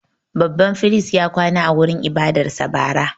Babban firist ya kwana a wurin ibadarsa bara.